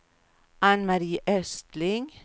Ann-Mari Östling